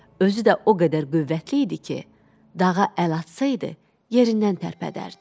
Özü də o qədər qüvvətli idi ki, dağa əl atsaydı, yerindən tərpədərdi.